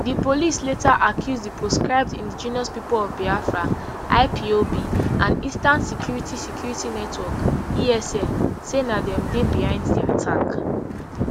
di police later accuse di proscribed indigenous people of biafra ipob and eastern security security network esn say na dem dey behind di attack